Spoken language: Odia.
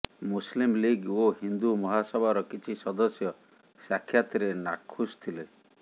ମୁସଲିମ୍ ଲିଗ୍ ଓ ହିନ୍ଦୁ ମହାସଭାର କିଛି ସଦସ୍ୟ ସାକ୍ଷାତରେ ନାଖୁସ ଥିଲେ